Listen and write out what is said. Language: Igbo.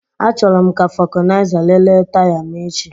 Achọrọ m ka vulcanizer lelee taya m echi